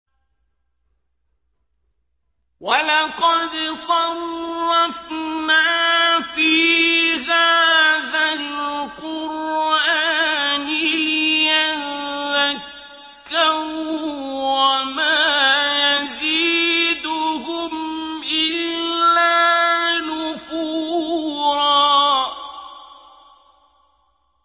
وَلَقَدْ صَرَّفْنَا فِي هَٰذَا الْقُرْآنِ لِيَذَّكَّرُوا وَمَا يَزِيدُهُمْ إِلَّا نُفُورًا